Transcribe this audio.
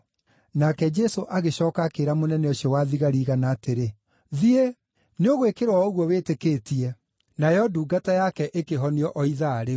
Nake Jesũ agĩcooka akĩĩra mũnene ũcio wa thigari igana atĩrĩ, “Thiĩ! Nĩũgwĩkĩrwo o ũguo wĩtĩkĩtie.” Nayo ndungata yake ĩkĩhonio o ithaa rĩu.